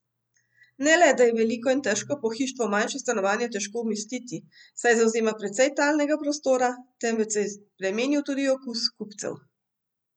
Ne le da je veliko in težko pohištvo v manjše stanovanje težko umestiti, saj zavzema precej talnega prostora, temveč se je spremenil tudi okus kupcev.